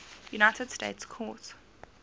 united states court